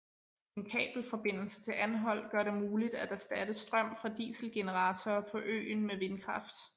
En kabelforbindelse til Anholt gør det muligt at erstatte strøm fra dieselgeneratorer på øen med vindkraft